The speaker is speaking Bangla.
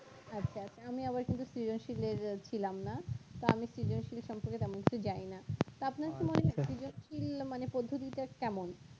আচ্ছা আচ্ছা আমি আবার কিন্তু সৃজনশিলের আ ছিলাম না তা আমি সৃজনশীল সম্পর্কে তেমন কিছু জানিনা তা আপনার কি মনে হয় সৃজনশীল মানে পদ্ধতিটা কেমন